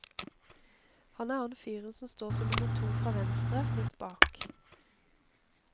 Han er han fyren som står som nummer to fra venstre, litt bak.